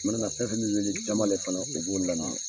I mana fɛn fɛn min ɲini Jambalɛ kɔnɔ u b'olu laminɛn.